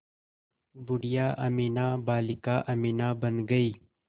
बूढ़िया अमीना बालिका अमीना बन गईं